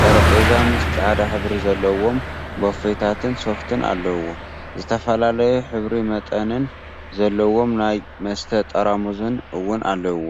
ጠረጴዛ ምስ ፃዕዳ ሕብሪ ዘለዎም ቦፌታትን ሶፍትን አለውዎ፡፡ ዝተፈላለዩ ሕብሪን መጠንን ዘለዎም ናይ መስተ ጠራሙዝ እውን አለው፡፡